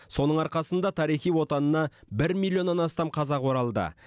соның арқасында тарихи отанына бір миллионнан астам қазақ оралды